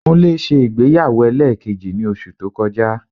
Kúnlé ṣe ìgbéyàwó ẹlẹ́ẹ̀kejì ní oṣù tó kọjá